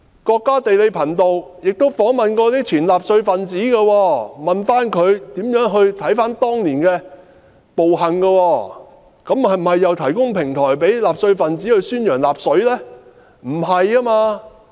國家地理頻道亦曾訪問前納粹分子，詢問他們如何評價當年的暴行，這是否等於提供平台給納粹分子宣揚納粹？